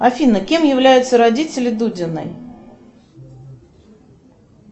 афина кем являются родители дудиной